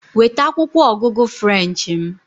Weta akwụkwọ ọgụgụ French m!